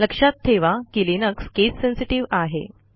लक्षात ठेवा की लिनक्स केस सेन्सेटिव्ह आहे